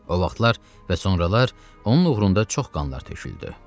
O vaxtlar və sonralar onun uğrunda çox qanlar töküldü.